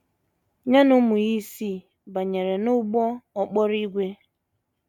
Ya na ụmụ ya isii banyere n’ụgbọ okporo ígwè.